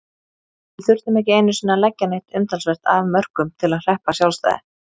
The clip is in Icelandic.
Við þurftum ekki einusinni að leggja neitt umtalsvert af mörkum til að hreppa sjálfstæði.